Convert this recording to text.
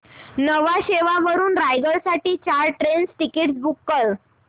न्हावा शेवा वरून रायगड साठी चार ट्रेन टिकीट्स बुक कर